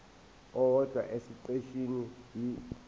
owodwa esiqeshini b